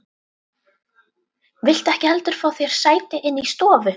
Viltu ekki heldur fá þér sæti inni í stofu?